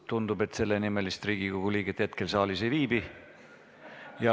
Tundub, et sellenimelist Riigikogu liiget hetkel saalis ei viibi.